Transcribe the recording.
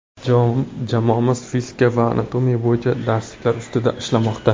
Jamoamiz fizika va anatomiya bo‘yicha darsliklar ustida ishlamoqda.